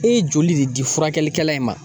E ye joli de di furakɛlikɛla in ma?